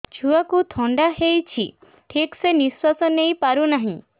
ଛୁଆକୁ ଥଣ୍ଡା ହେଇଛି ଠିକ ସେ ନିଶ୍ୱାସ ନେଇ ପାରୁ ନାହିଁ